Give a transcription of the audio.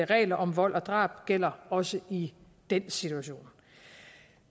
regler om vold og drab gælder også i den situation